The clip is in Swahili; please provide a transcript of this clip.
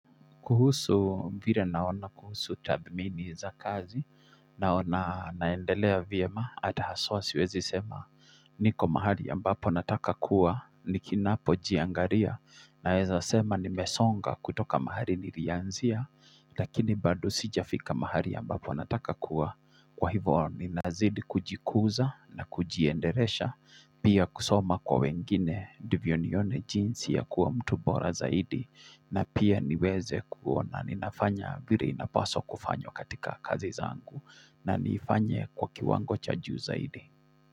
Kuhusu vile naona kuhusu tathmini za kazi, naona naendelea vyem, hata haswa siwezi sema, niko mahali ambapo nataka kuwa, ni kinapojiangaria, naweza sema nimesonga kutoka mahali nilianzia, lakini bado sijafika mahali ambapo nataka kuwa, kwa hivyo ninazidi kujikuza na kujiendelesha, Pia kusoma kwa wengine ndivyo nione jinsi ya kuwa mtu bora zaidi na pia niweze kuona ninafanya vile inapaswa kufanya katika kazi zangu na nifanye kwa kiwango cha juu zaidi.